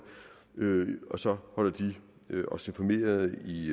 og så holder de os informeret i